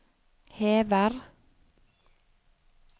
hever